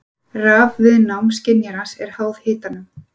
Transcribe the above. Rafviðnám skynjarans er háð hitanum.